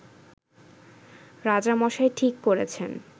রাজামশাই ঠিক করেছেন